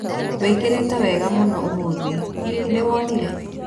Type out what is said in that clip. Wĩkĩrĩte wega mũno ũmũthĩ. Hihi nĩ wonire